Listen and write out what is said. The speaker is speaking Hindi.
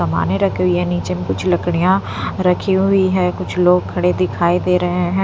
कमाने रखी हुई है नीचे में कुछ लकड़ियाँ रखी हुई है कुछ लोग खड़े दिखाई दे रहे हैं।